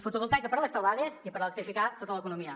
fotovoltaica per a les teulades i per electrificar tota l’economia